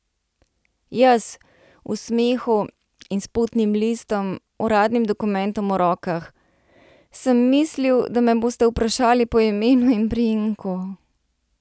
Jaz, v smehu in s potnim listom, uradnim dokumentom v rokah: 'Sem mislil, da me boste vprašali po imenu in priimku.